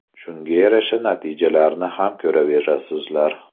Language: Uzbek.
Shunga yarasha natijani ham ko‘raverasizlar.